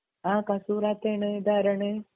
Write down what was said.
ആഹ് കസൂറത്തേണ്‌ ഇതാരാണ്